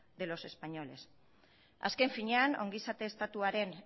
de los españoles azken finean ongizate estatuaren